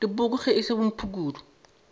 dipoko ge e se bomphukudu